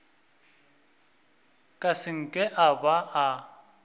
ka seke a ba a